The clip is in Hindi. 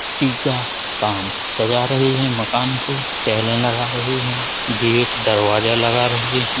पुट्टी का काम सजा रहे हैं मकान को। टेलें लगा रहे हैं। गेट दरवाजा लगा रहे हैं।